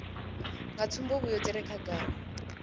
nga tsumbavhuyo dzi re khagala